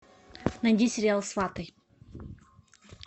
найди сериал сваты